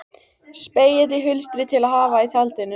Spegill í hulstri til að hafa í tjaldinu.